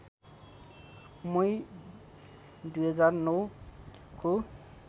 मई २००९ को